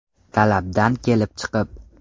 Talabdan kelib chiqib.